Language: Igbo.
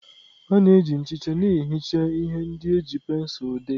A na-eji nchicha na-ehicha ihe ndị e ji pensụl dee.